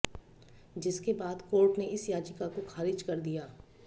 जिसके बाद कोर्ट ने इस याचिका को खारिज कर दिया